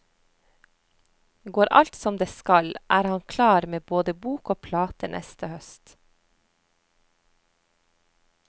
Går alt som det skal, er han klar med både bok og plate neste høst.